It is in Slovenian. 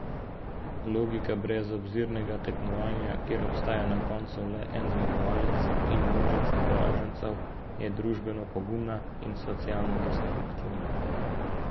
Logika brezobzirnega tekmovanja, kjer ostaja na koncu le en zmagovalec in množica poražencev, je družbeno pogubna in socialno destruktivna.